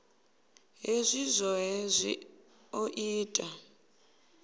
hezwi zwohe zwi o ita